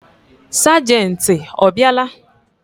Sagenti ọ bịa la?